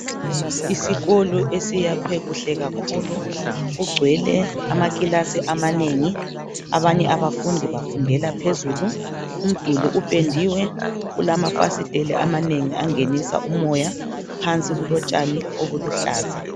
Isikolo esiyakhwe kuhle kakhulu. Kugcwele amakilasi amanengi, abanye abafundi bafundela phezulu, umduli upendiwe. Kulamafasiteli amanengi angenisa umoya, phansi kulotshani obuluhlaza.